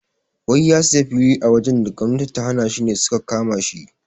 Wai ya siya fili a wajan da gwamnati ta hana shine suka kamashi